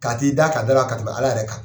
Ka t'i da ka d'a la ka tɛmɛ Ala yɛrɛ kan.